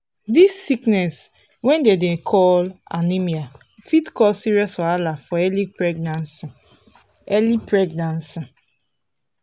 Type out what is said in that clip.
this sickness wey dem dey call anemia fit cause serious wahala for early pregnancy early pregnancy